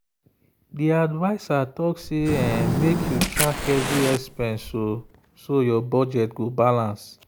the adviser talk say make you track every expense so your budget go balance.